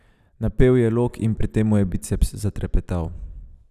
Napel je lok in pri tem mu je biceps zatrepetal.